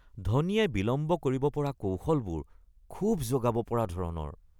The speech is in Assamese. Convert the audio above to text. ধোনীয়ে বিলম্ব কৰিব পৰা কৌশলবোৰ ক্ষোভ জগাব পৰা ধৰণৰ